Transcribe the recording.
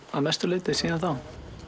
að mestu leyti síðan þá